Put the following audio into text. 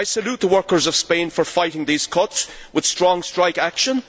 I salute the workers of Spain for fighting these cuts with strong strike action.